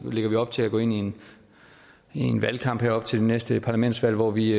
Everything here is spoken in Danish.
lægger vi op til at gå ind i en valgkamp her op til det næste parlamentsvalg hvor vi